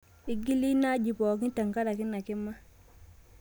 Eing'iele ina aji pookin tenkaraki ina kima